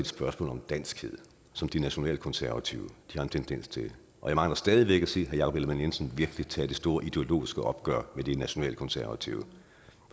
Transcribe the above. spørgsmål om danskhed som de nationalkonservative har en tendens til jeg mangler stadig væk at se herre jakob ellemann jensen tage det store ideologiske opgør med de nationalkonservative